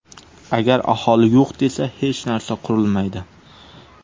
Agar aholi yo‘q desa, hech narsa qurilmaydi.